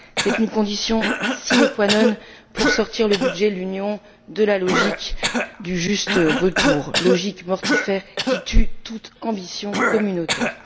C'est une condition sine qua non pour sortir le budget de l'Union de la logique du juste retour, logique mortifère qui tue toute ambition communautaire.